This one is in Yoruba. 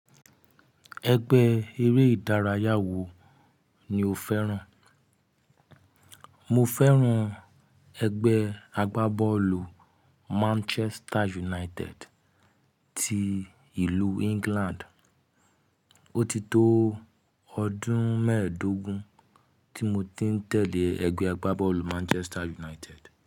Ẹgbẹ́ eré ìdárayá wo ni o fẹ́ràn? Mo fẹ́ràn ẹgbẹ́ agbábọ́ọ̀lù Manchester United ti ìlú England. O ti tó ọdún mẹ́ẹ̀ẹ́dógún tí mo ti ń tẹ̀lé ẹgbẹ́ agbábọ́ọ̀lù Manchester United.